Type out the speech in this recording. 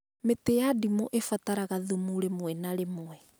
Mĩtĩ ya ndimũ ĩbataraga thumu rĩmwe na rĩmwe